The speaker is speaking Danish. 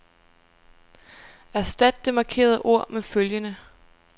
Erstat det markerede ord med følgende.